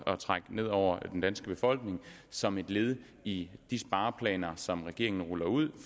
at trække ned over den danske befolkning som et led i de spareplaner som regeringen ruller ud